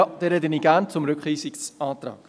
Ich spreche somit gerne zum Rückweisungsantrag.